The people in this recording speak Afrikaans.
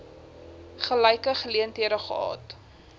gelyke geleenthede gehad